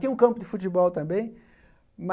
Tinha um campo de futebol também.